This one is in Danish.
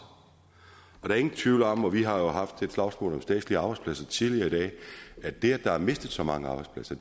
og der er ingen tvivl om og vi har jo haft et slagsmål om statslige arbejdspladser tidligere i dag at det at der er mistet så mange arbejdspladser